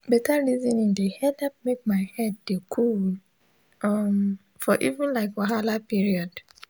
beta resoning de helep make my head de coolee um for even like wahala period